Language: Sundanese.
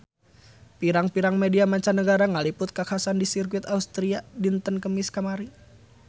Pirang-pirang media mancanagara ngaliput kakhasan di Sirkuit Austria dinten Kemis kamari